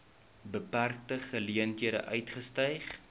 beperkte geleenthede uitgestyg